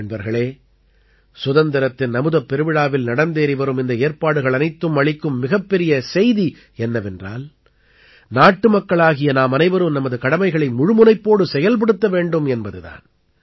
நண்பர்களே சுதந்திரத்தின் அமுதப் பெருவிழாவில் நடந்தேறி வரும் இந்த ஏற்பாடுகள் அனைத்தும் அளிக்கும் மிகப்பெரிய செய்தி என்னவென்றால் நாட்டுமக்களாகிய நாமனைவரும் நமது கடமைகளை முழுமுனைப்போடு செயல்படுத்த வேண்டும் என்பது தான்